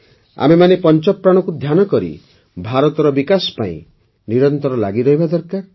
ଆମେମାନେ ପଞ୍ଚପ୍ରାଣକୁ ଧ୍ୟାନକରି ଭାରତର ବିକାଶ ପାଇଁ ନିରନ୍ତର ଲାଗିରହିବା ଦରକାର